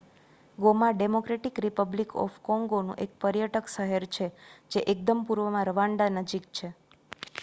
Goma democratic republic of કોંગોનું એક પર્યટક શહેર છે જે એકદમ પૂર્વમાં રવાન્ડા નજીક છે